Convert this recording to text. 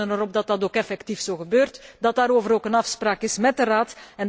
Wij rekenen erop dat dat ook effectief zo gebeurt en dat daarover ook een afspraak is met de Raad.